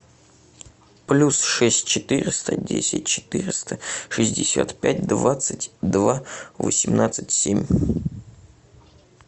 плюс шесть четыреста десять четыреста шестьдесят пять двадцать два восемнадцать семь